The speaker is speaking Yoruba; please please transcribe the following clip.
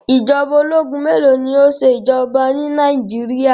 Ìjọba ológun mélòó ni ó ṣe ìjọba ni Nàìjíríà?